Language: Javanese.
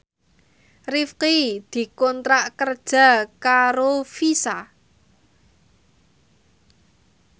Rifqi dikontrak kerja karo Visa